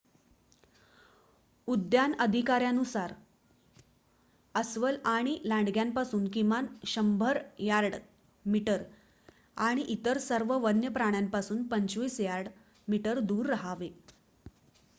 उद्यान अधिकाऱ्यांनुसार अस्वल आणि लांडग्यांपासून किमान १०० यार्ड/मीटर आणि इतर सर्व वन्य प्राण्यांपासून २५ यार्ड/मीटर दूर राहावे!